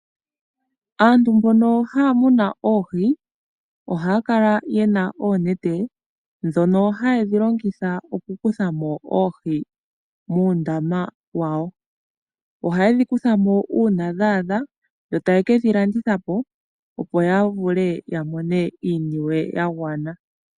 Aantu mbono haa muna oohi, ohaa kala ye na oonete, ndhono haye dhi longitha okukutha mo oohi muundama wawo. Ohaye dhi kutha mo uuna dha adha, yo taye ke dhi landitha po, opo ya vule ya mone iiniwe ya gwana.